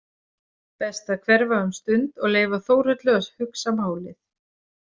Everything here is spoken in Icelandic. Best að hverfa um stund og leyfa Þórhöllu að hugsa málið.